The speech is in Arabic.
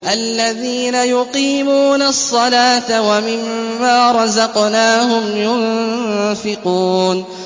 الَّذِينَ يُقِيمُونَ الصَّلَاةَ وَمِمَّا رَزَقْنَاهُمْ يُنفِقُونَ